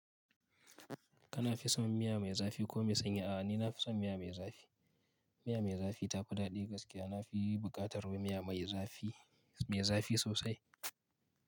Kana fi son miya mai zafi ko mai sanyi? A'a ni nafi son miya mai zafi. Miya mai zafi tafi daɗi gaskiya. Na fi buƙatar miya mai zafi, mai zafi sosai.